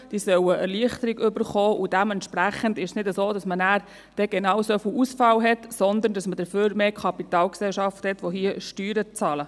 Sie sollen Erleichterung erhalten, und dementsprechend ist es nicht so, dass man genau so viel Ausfall hat, sondern dass man dafür mehr Kapitalgesellschaften hat, welche hier Steuern zahlen.